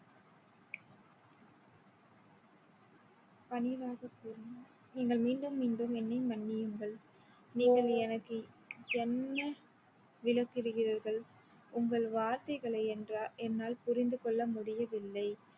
பணிவாக கூறினார் நீங்கள் மீண்டும் மீண்டும் என்னை மன்னியுங்கள் நீங்கள் எனக்கு என்ன விளக்குகிறீர்கள்? உங்கள் வார்த்தைகளை என்றா~ என்னால் புரிந்து கொள்ள முடியவில்லை